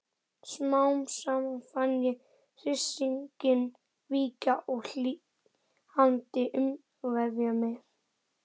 Smám saman fann ég hryssinginn víkja og hlýindin umvefja mig.